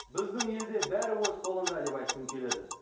біздің елде бәрі өз қолыңда деп айтқым келеді